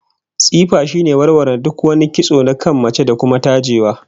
Tsifa shine warware duk wani kitso na kan mace, da kuma tajewa